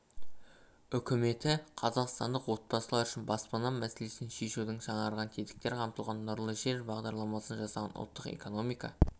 үкіметі қазақстандық отбасылар үшін баспана мәселесін шешудің жаңарған тетіктер қамтылған нұрлы жер бағдарламасын жасаған ұлттық экономика